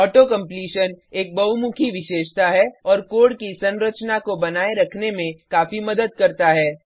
auto completion एक बहुमुखी विशेषता है और कोड की संरचना को बनाए रखने में काफी मदद करता है